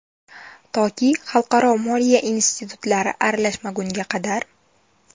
Toki xalqaro moliya institutlari aralashmagunga qadar.